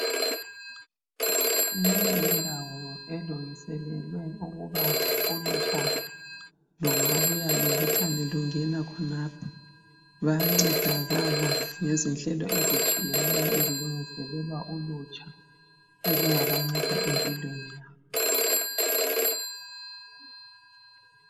Leyindawo elungiselelwe ukuba olutsha lungabuya lubuthane lungena khonapho, bayancedakala ngezinhlelo ezitshiyeneyo ezilungiselwa ulutsha ezingabanceda empilweni yabo.